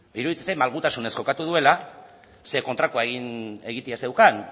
iruditzen zait malgutasunez jokatu duela ze kontrakoa egitea zeukan